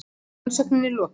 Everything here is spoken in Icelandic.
Rannsókninni er lokið!